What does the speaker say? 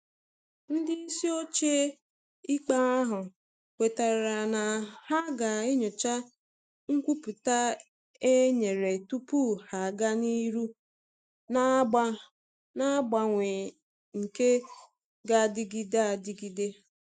Ndị isi ochie ikpe ahụ kwetara na ha ga enyocha nkwupụta e nyere tupu ha aga n'ihu na mgbanwe nke g'adịgide adịgide.